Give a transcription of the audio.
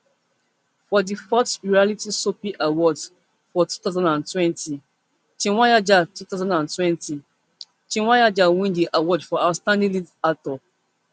for di fourth royalty soapie awards for two thousand and twenty chweneyagae two thousand and twenty chweneyagae win di award for outstanding lead actor